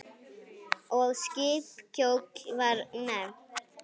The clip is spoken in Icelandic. Og skip kjóll var nefnt.